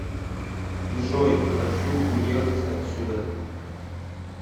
джой хочу уехать отсюда